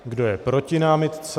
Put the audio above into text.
Kdo je proti námitce?